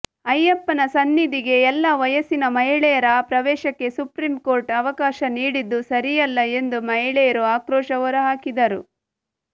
ಅಯ್ಯಪ್ಪನ ಸನ್ನಿಧಿಗೆ ಎಲ್ಲಾ ವಯಸ್ಸಿನ ಮಹಿಳೆಯರ ಪ್ರವೇಶಕ್ಕೆ ಸುಪ್ರೀಂಕೋರ್ಟ್ ಅವಕಾಶ ನೀಡಿದ್ದು ಸರಿಯಲ್ಲ ಎಂದು ಮಹಿಳೆಯರು ಆಕ್ರೋಶ ಹೊರಹಾಕಿದರು